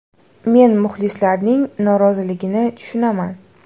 Men muxlislarning noroziligini tushunaman.